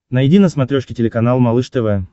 найди на смотрешке телеканал малыш тв